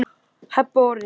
Heba og Orri.